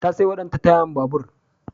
Ta saiwa danta tayar babur.